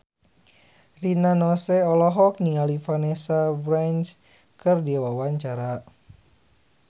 Rina Nose olohok ningali Vanessa Branch keur diwawancara